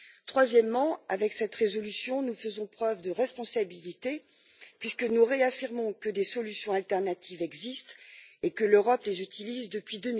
Troisièmement, avec cette résolution, nous faisons preuve de responsabilité puisque nous réaffirmons que des solutions alternatives existent et que l'Europe les utilise depuis